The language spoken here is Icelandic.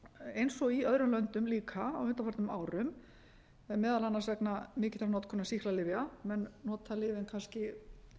eins og í öðrum löndum líka á undanförnum árum meðal annars vegna mikillar notkunar sýklalyfja menn nota lyfin kannski